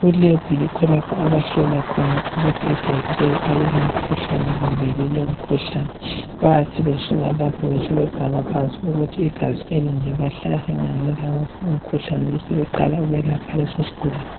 ,ku lab yikho lapho abahlola khona ukuthi igazi leli alila mkhuhlane kumbe lilomkhuhlane bayathi besuka lapho besebebhala phansi ukuthi igazi elinye bahlangane lawuphi umkhuhlane besebeqala ukwelapha leso sigulane.